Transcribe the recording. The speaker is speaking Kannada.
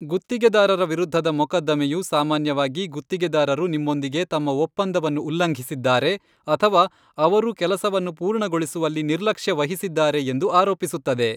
ಗುತ್ತಿಗೆದಾರರ ವಿರುದ್ಧದ ಮೊಕದ್ದಮೆಯು, ಸಾಮಾನ್ಯವಾಗಿ ಗುತ್ತಿಗೆದಾರರು ನಿಮ್ಮೊಂದಿಗೆ ತಮ್ಮ ಒಪ್ಪಂದವನ್ನು ಉಲ್ಲಂಘಿಸಿದ್ದಾರೆ ಅಥವಾ ಅವರು ಕೆಲಸವನ್ನು ಪೂರ್ಣಗೊಳಿಸುವಲ್ಲಿ ನಿರ್ಲಕ್ಷ್ಯ ವಹಿಸಿದ್ದಾರೆ ಎಂದು ಆರೋಪಿಸುತ್ತದೆ.